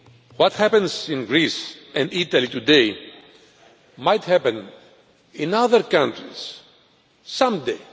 what happens in Greece and Italy today might also happen in other countries one day.